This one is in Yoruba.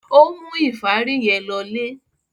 Ó mú ìfárí yẹn lọlé?